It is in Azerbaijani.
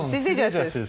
Sağ olun, siz necəsiniz?